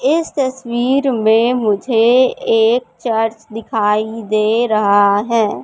इस तस्वीर में मुझे एक चर्च दिखाई दे रहा है।